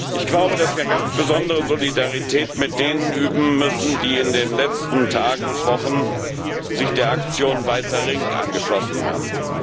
Ich glaube, dass wir eine ganz besondere Solidarität mit denen üben müssen, die sich in den letzten Tagen und Wochen der Aktion Weißer Ring angeschlossen haben.